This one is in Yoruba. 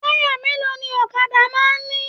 Taya mélòó ní ọ̀kàdà máa n ní?